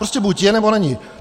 Prostě buď je, nebo není.